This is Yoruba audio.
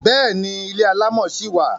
Bẹ́ẹ̀ni, ilé alámọ̀ ṣì wà.